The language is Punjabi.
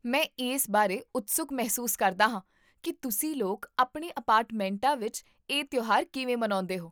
ਮੈਂ ਇਸ ਬਾਰੇ ਉਤਸੁਕ ਮਹਿਸੂਸ ਕਰਦਾ ਹਾਂ ਕਿ ਤੁਸੀਂ ਲੋਕ ਆਪਣੇ ਅਪਾਰਟਮੈਂਟਾਂ ਵਿੱਚ ਇਹ ਤਿਉਹਾਰ ਕਿਵੇਂ ਮਨਾਉਂਦੇ ਹੋ